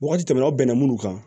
Waati tɛmɛna aw bɛnna minnu kan